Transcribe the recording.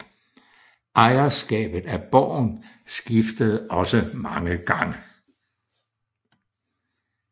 Ejerskabet af borgen skiftede også mange gange